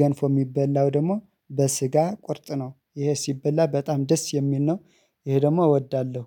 ገንፎ የሚበላው ደግሞ በስጋ ቁርጥ ነው ይሄ ሲበላ በጣም ደስ የሚል ነው። ይሄ ደግሞ እወዳለሁ